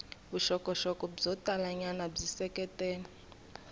vuxokoxoko byo talanyana byi seketela